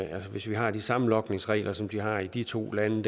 altså hvis vi har de samme logningsregler som de har i de to lande